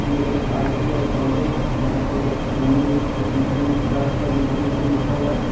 ये एक ITI. College है जहां पे सामने एडमिशन का एडमिशन ओपन लिखा हुआ है।